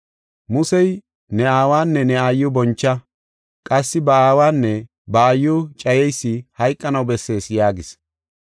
Musey, ‘Ne aawanne ne aayiw boncha’, qassi ‘Ba aawanne ba aayiw cayeysi hayqanaw bessees’ yaagis.